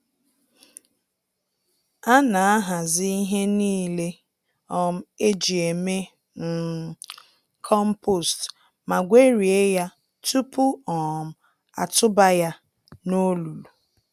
Ana ahazi ihe niile um eji eme um compost ma gwerie ya tupu um atụba ya n'olulu.